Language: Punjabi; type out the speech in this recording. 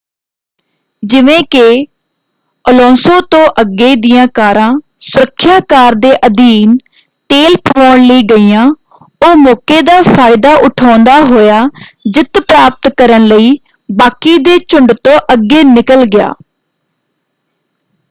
ਜਿਵੇਂ ਕਿ ਅਲੋਂਸੋ ਤੋਂ ਅੱਗੇ ਦੀਆਂ ਕਾਰਾਂ ਸੁਰੱਖਿਆ ਕਾਰ ਦੇ ਅਧੀਨ ਤੇਲ ਪਵਾਉਣ ਲਈ ਗਈਆਂ ਉਹ ਮੌਕੇ ਦਾ ਫਾਇਦਾ ਉਠਾਉਂਦਾ ਹੋਇਆ ਜਿੱਤ ਪ੍ਰਾਪਤ ਕਰਨ ਲਈ ਬਾਕੀ ਦੇ ਝੁੰਡ ਤੋਂ ਅੱਗੇ ਨਿਕਲ ਗਿਆ।